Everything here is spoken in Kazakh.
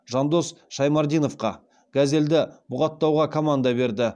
жандос шаймардиновқа газелді бұғаттауға команда берді